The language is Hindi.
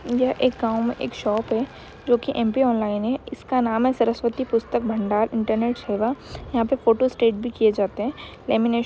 यह एक गांव में एक शॉप है जो कि एम पी ऑनलाइन है इसका नाम है सरस्वती पुस्तक भंडार इंटरनेट सेवा। यहाँ पे फोटोस्टेट भी किए जाते हैं। लामीनेशन --